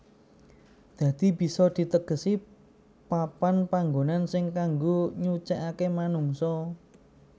Dadi bisa ditegesi papan panngonan sing kanggo nyucèkake manungsa